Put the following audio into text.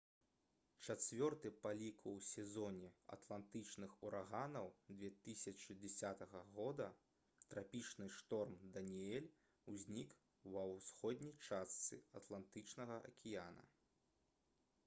чацвёрты па ліку ў сезоне атлантычных ураганаў 2010 года трапічны шторм «даніэль» узнік ва ўсходняй частцы атлантычнага акіяна